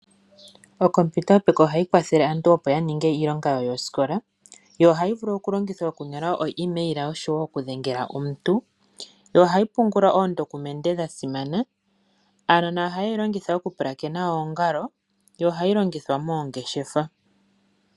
Onkompiyuta yopeke ohayi kwathele aantu opo ya ninge iilonga yawo yosikola yo ohayi vulu okulongithwa okunyola oemail oshowo okudhengela omuntu nohayi pungula oondokumende dha simana. Aanona ohaye yi longitha okupulakena oongalo yo ohayi longithwa moongeshefa.